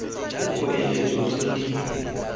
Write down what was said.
dipoeletso tse di tlhokegang di